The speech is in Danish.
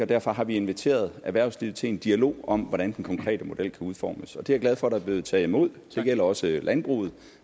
derfor har vi inviteret erhvervslivet til en dialog om hvordan den konkrete model kan udformes det er jeg glad for der er blevet taget imod det gælder også landbruget